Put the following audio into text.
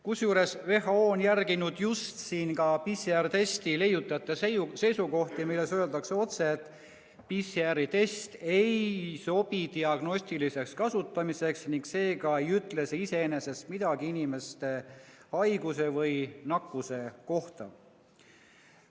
Kusjuures WHO on järginud siin ka PCR‑testi leiutajate seisukohti, milles öeldakse otse, et PCR‑test ei sobi diagnostiliseks kasutamiseks ning seega ei ütle see iseenesest midagi inimeste haiguse või nakkuse kohta.